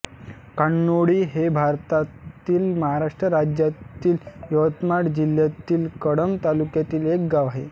कान्होळी हे भारतातील महाराष्ट्र राज्यातील यवतमाळ जिल्ह्यातील कळंब तालुक्यातील एक गाव आहे